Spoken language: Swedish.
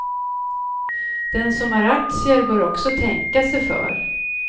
Den som har aktier bör också tänka sig för.